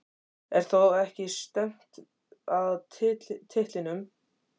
Er þá ekki stefnt að titlinum?